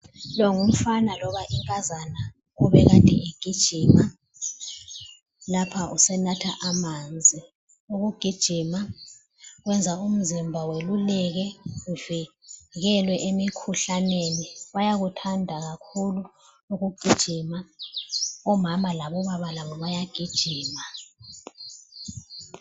Longumfana loba inkazana obekade egijima. Lapha usenatha amanzi. Ukugijima kwenza umzimba weluleke uvikelwe emikhuhlaneni. Bayakuthanda kakhulu ukugijima, omama labobaba labo bayagijima.